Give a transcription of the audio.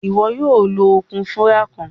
Iwọ yoo lo okun wura kan.